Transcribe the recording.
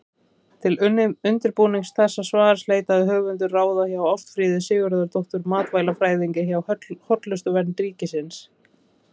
Til undirbúnings þessa svars leitaði höfundur ráða hjá Ástfríði Sigurðardóttur matvælafræðingi hjá Hollustuvernd ríkisins.